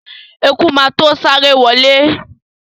Eku má to sáré wọlé.